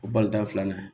O balontan filanan